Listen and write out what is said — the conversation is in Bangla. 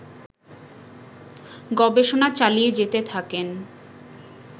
গবেষণা চালিয়ে যেতে থাকেন